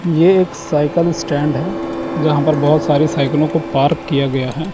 ये एक cycle stand है। जहां पर बहोत सारी साइकलों को पार्क किया गया है।